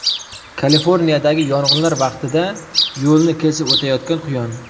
Kaliforniyadagi yong‘inlar vaqtida yo‘lni kesib o‘tayotgan quyon.